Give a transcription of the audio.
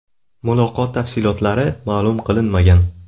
Muloqot tafsilotlari ma’lum qilinmagan.